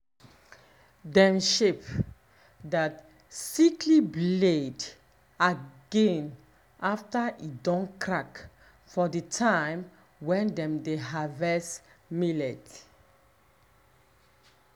dem shape that sickly blade again after e don crack for the time when dem dey harvest millet.